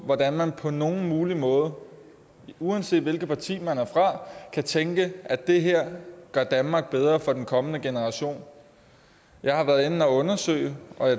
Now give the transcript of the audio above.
hvordan man på nogen mulig måde uanset hvilket parti man er fra kan tænke at det her gør danmark bedre for de kommende generationer jeg har været inde og undersøge